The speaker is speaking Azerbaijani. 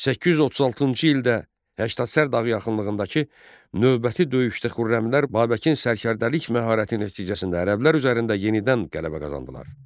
836-cı ildə Həştadsər dağı yaxınlığındakı növbəti döyüşdə xürrəmilər Babəkin sərkərdəlik məharəti nəticəsində ərəblər üzərində yenidən qələbə qazandılar.